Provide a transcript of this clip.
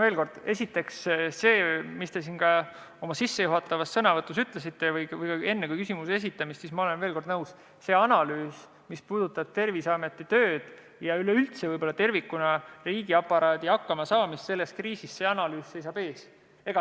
Veel kord, esiteks see, mida te oma sissejuhatavas sõnavõtus või enne küsimuse esitamist ütlesite – ma olen nõus, et analüüs, mis puudutab Terviseameti tööd ja üleüldse tervikuna riigiaparaadi hakkamasaamist selles kriisis, seisab ees.